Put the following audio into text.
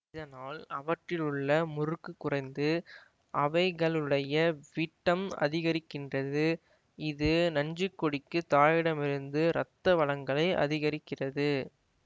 இதனால் அவற்றிலுள்ள முறுக்கு குறைந்து அவைகளுடைய விட்டம் அதிகரிக்கின்றது இது நஞ்சுக்கொடிக்கு தாயிடமிருந்து இரத்த வழங்கலை அதிகரிக்கிறது